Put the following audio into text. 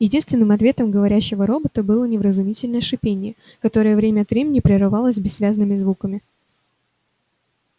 единственным ответом говорящего робота было невразумительное шипение которое время от времени прерывалось бессвязными звуками